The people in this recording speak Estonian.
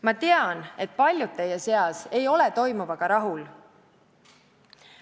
Ma tean, et paljud teie seas ei ole toimuvaga rahul.